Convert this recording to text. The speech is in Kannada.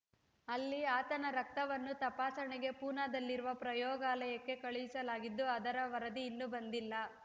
ಅಲ್ಲಿ ಆತನ ರಕ್ತವನ್ನು ತಪಾಸಣೆಗೆ ಪೂನಾದಲ್ಲಿರುವ ಪ್ರಯೋಗಾಲಯಕ್ಕೆ ಕಳಿಸಲಾಗಿದ್ದು ಅದರ ವರದಿ ಇನ್ನೂ ಬಂದಿಲ್ಲ